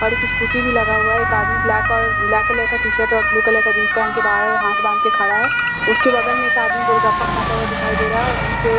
और एक स्कूटी भी लगा हुआ है एक आदमी ब्लैक और ब्लैक कलर का टी-शर्ट और ब्लू कलर का जींस पहन के बाहर हाथ बांधकर खड़ा है उसके बगल में एक आदमी गोल गप्पा खाता हुआ दिखाई दे रहा है और वहीं पे --